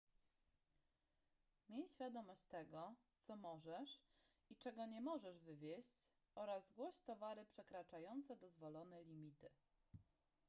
miej świadomość tego co możesz i czego nie możesz wwieźć oraz zgłoś towary przekraczające dozwolone limity